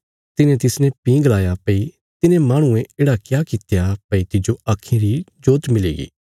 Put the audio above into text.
तिन्हें तिसने भीं गलाया भई तिने माहणुये येढ़ा क्या कित्या भई तिज्जो आक्खीं री जोत मिलीगी